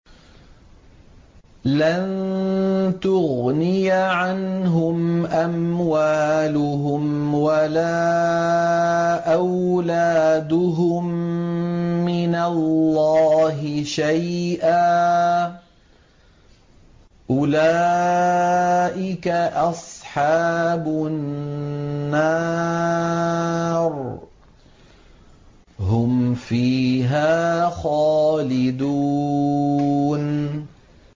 لَّن تُغْنِيَ عَنْهُمْ أَمْوَالُهُمْ وَلَا أَوْلَادُهُم مِّنَ اللَّهِ شَيْئًا ۚ أُولَٰئِكَ أَصْحَابُ النَّارِ ۖ هُمْ فِيهَا خَالِدُونَ